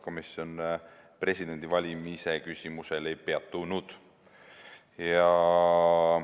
Komisjon presidendivalimise küsimusel ei peatunud.